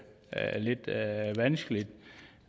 lidt vanskeligt